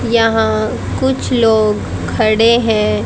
यहां कुछ लोग खड़े हैं।